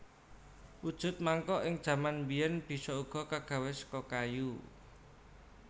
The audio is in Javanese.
Wujud mangkok ing jaman biyen bisa uga kagawe saka kayu